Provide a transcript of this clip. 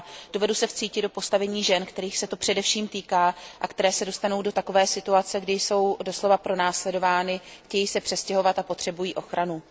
Dovedu se vcítit do postavení žen, kterých se příkaz především týká a které se dostanou do takové situace, kdy jsou doslova pronásledovány, chtějí se přestěhovat a potřebují ochranu.